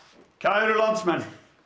kæru landsmenn